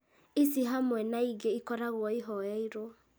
ici hamwe na ingĩ ikoragwo ihoyeirwo